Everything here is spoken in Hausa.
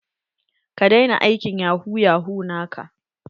Ka daina aikin yahu yahu naka.